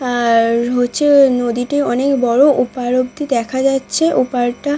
আর হচ্ছে নদীটি অনেক বড় ওপাড় অবধি দেখা যাচ্ছে। ওপাড় টা--